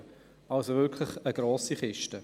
Es handelte sich um ein grosses Projekt.